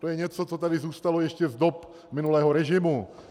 To je něco, co tady zůstalo ještě z dob minulého režimu.